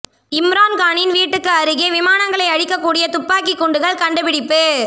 இம்ரான்கானின் வீட்டிற்கு அருகே விமானங்களை அழிக்க கூடிய துப்பாக்கி குண்டுகள் கண்டுபிடிப்பு